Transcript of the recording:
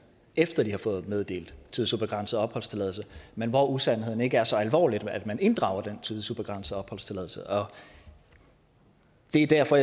efter at de har fået meddelt tidsubegrænset opholdstilladelse men hvor usandheden ikke er så alvorlig at man inddrager den tidsubegrænsede opholdstilladelse det er derfor